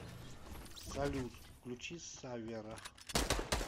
салют включи саввера